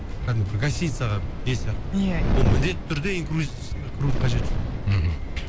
кәдімгі гостиницаға сияқты иә ол міндетті түрде инкрузерске кірудің қажеті жоқ мхм